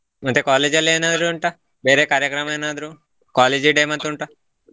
ಮತ್ತೆ college ಲ್ಲಿ ಏನಾದರು ಉಂಟಾ ಬೇರೆ ಕಾರ್ಯಕ್ರಮ ಏನಾದರು college day ಮತ್ ಉಂಟಾ.